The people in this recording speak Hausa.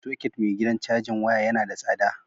Soket mai gidan cajin waya yana da tsada.